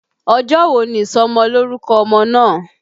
Ọjọ́ wo ni ìsọmọlórúkọ ọmọ náà?